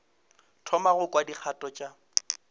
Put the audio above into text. thoma go kwa dikgato ka